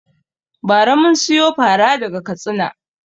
Ba ra mun siyo fara daga Katsina